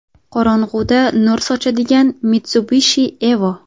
Qorong‘uda nur sochadigan Mitsubishi Evo.